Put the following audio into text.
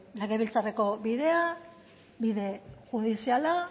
legebiltzarreko bidea bide judiziala